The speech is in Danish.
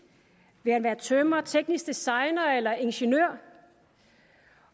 vil han være tømrer teknisk designer eller ingeniør